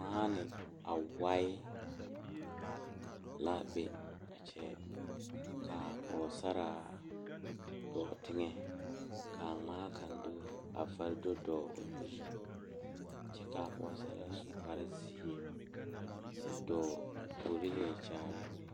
Nenpeɛle la zeŋ die kaŋa poɔ a eŋ nyɛboɔre bontuure ka bamine su kpare sɔglɔ ka bamine su kpare peɛle ka bamine su kpare ziiri ka bamine zeŋ ka bamine are ka bamine teɛ ba nu kyɛ ka bamine kyɛ dɔɔ koo puori lɛ Kyaara.